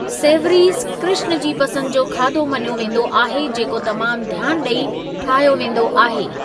Savouries Krishna ji पसंद जो खादो मञियो वेंदो आहे जेको तमामु ध्‍यानु ॾेई ठाहियो वेंदो आहे।.